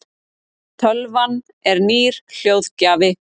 tölvan er nýr hljóðgjafi